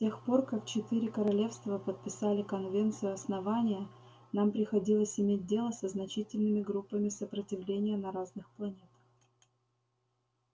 с тех пор как четыре королевства подписали конвенцию основания нам приходилось иметь дело со значительными группами сопротивления на разных планет